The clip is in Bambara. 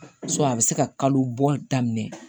a bɛ se ka kalo bɔ daminɛ